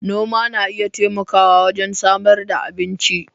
Noma na iya taimakawa wajen samar da abinci.